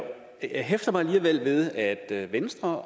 hæfter mig alligevel ved at at venstre og